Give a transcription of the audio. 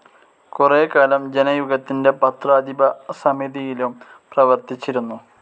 കുറേക്കാലം ജനയുഗത്തിന്റെ പത്രാധിപ സമിതിയിലും പ്രവർത്തിച്ചിരുന്നു.